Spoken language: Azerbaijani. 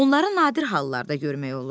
Onları nadir hallarda görmək olur.